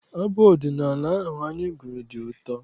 Abụ ọdịnala ahụ anyị gụrụ dị ụtọ.